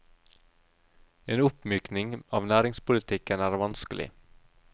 En oppmykning av næringspolitikken er vanskelig.